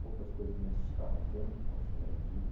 Poucas coisas me assustaram tanto quanto chegar em Zurich.